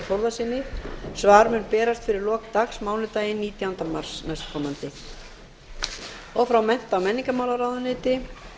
þór þórðarsyni svar mun berast fyrir lok dags mánudaginn nítjánda mars næstkomandi fjórði frá mennta og menningarmálaráðuneyti